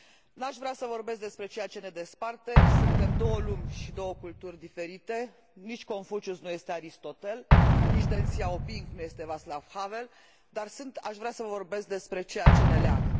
N aș vrea să vorbesc despre ceea ce ne desparte, suntem două lumi și două culturi diferite nici Confucius nu este Aristotel, nici Deng Xiaoping nu este Václav Havel, dar aș vrea să vă vorbesc despre ceea ce ne leagă.